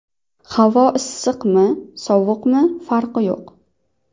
Havo issiqmi, sovuqmi farqi yo‘q.